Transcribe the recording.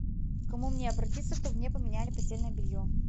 к кому мне обратиться чтобы мне поменяли постельное белье